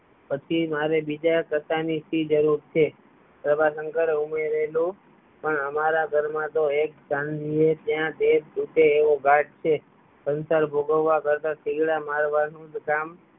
પછી મારે બીજાં કશા ની શી જરૂર છે પ્રભાશંકરે ઉમેરેલું પણ અમારા ઘર માં તો એક સિવો ત્યાં બે તૂટે એવો ઘાટ છે સંસાર ભોગવવા કરતા થીગડા મારવાનુ કામ